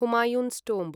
Humayun's Tomb